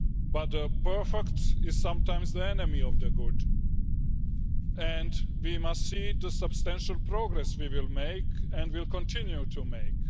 But the perfect is sometimes the enemy of the good, and we must see the substantial progress we are making and will continue to make.